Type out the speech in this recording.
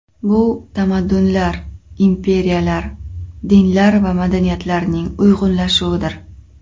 Bu tamaddunlar, imperiyalar, dinlar va madaniyatlarning uyg‘unlashuvidir.